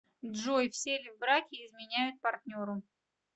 джой все ли в браке изменяют партнеру